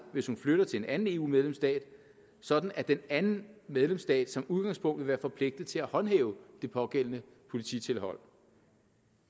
hvis hun flytter til en anden eu medlemsstat sådan at den anden medlemsstat som udgangspunkt vil være forpligtet til at håndhæve det pågældende polititilhold